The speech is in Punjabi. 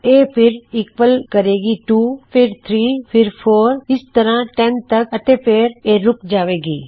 ਇਹ ਫਿਰ ਈਕਵਲ ਕਰੇਗੀ 2 ਫਿਰ 3 ਫਿਰ 4 ਇਸੇ ਤਰ੍ਹਾ 10 ਤੱਕ ਅਤੇ ਫਿਰ ਇਹ ਰੁੱਕ ਜਾਵੇਗਾ